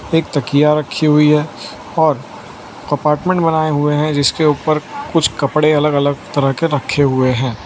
एक तकिया रखी हुई है और कंपार्टमेंट बनाए हुए हैं जिसके ऊपर कुछ कपड़े अलग अलग तरह के रखे हुए हैं।